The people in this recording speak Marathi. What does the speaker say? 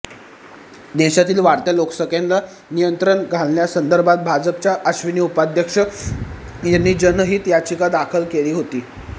देशातील वाढत्या लोकसंख्येला नियंत्रण घालण्यासंदर्भात भाजपच्या अश्विनी उपाध्याय यांनी जनहित याचिका दाखल केली होती